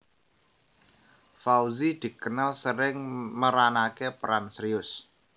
Fauzi dikenal sering meranaké peran serius